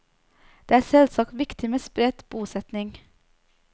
Det er selvsagt viktig med spredt bosetting.